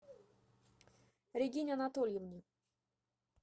регине анатольевне